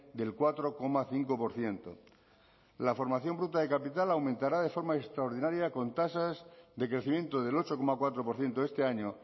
del cuatro coma cinco por ciento la formación bruta de capital aumentará de forma extraordinaria con tasas de crecimiento del ocho coma cuatro por ciento este año